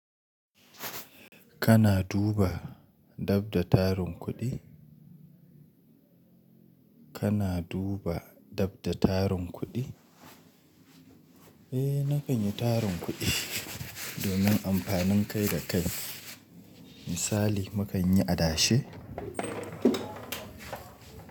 Kana duba dab da tarin kuɗi? Kana duba dabda tarin kuɗi? Eh nakan yi tarin kuɗi domin amfanin kai da kai. Misali, mu kan yi adashe.